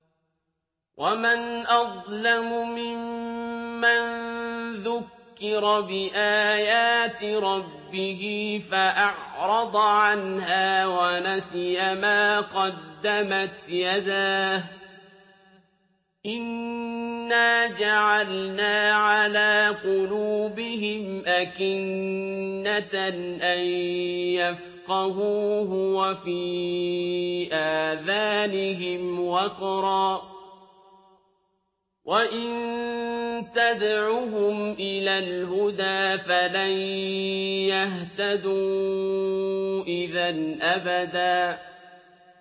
وَمَنْ أَظْلَمُ مِمَّن ذُكِّرَ بِآيَاتِ رَبِّهِ فَأَعْرَضَ عَنْهَا وَنَسِيَ مَا قَدَّمَتْ يَدَاهُ ۚ إِنَّا جَعَلْنَا عَلَىٰ قُلُوبِهِمْ أَكِنَّةً أَن يَفْقَهُوهُ وَفِي آذَانِهِمْ وَقْرًا ۖ وَإِن تَدْعُهُمْ إِلَى الْهُدَىٰ فَلَن يَهْتَدُوا إِذًا أَبَدًا